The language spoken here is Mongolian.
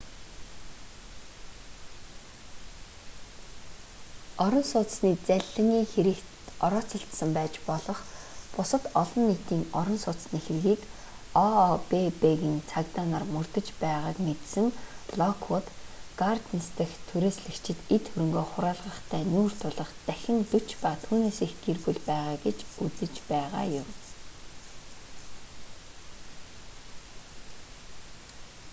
орон сууцны залилангийн хэрэгт орооцолдсон байж болох бусад олон нийтийн орон сууцны хэргийг ообб-ын цагдаа нар мөрдөж байгааг мэдсэн локвүүд гарденс дахь түрээслэгчид эд хөрөнгөө хураалгахтай нүүр тулах дахин 40 ба түүнээс их гэр бүл байгаа гэж үзэж байгаа юм